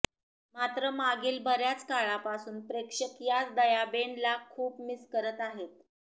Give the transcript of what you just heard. मात्र माघील बऱ्याच काळापासून प्रेक्षक याच दयाबेन ला खूप मिस करत आहेत